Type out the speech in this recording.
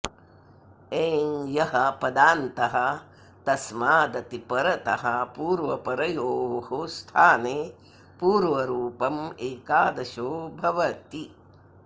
एङ् यः पदान्तः तस्मादति परतः पूर्वपरयोः स्थाने पूर्वरूपम् एकाद्शो भवति